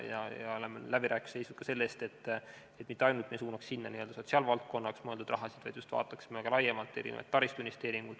Ja oleme läbirääkimistel seisnud ka selle eest, et me mitte ainult ei suunaks sinna n-ö sotsiaalvaldkonnaks mõeldud raha, vaid vaataksime ka laiemalt erinevaid taristuinvesteeringuid.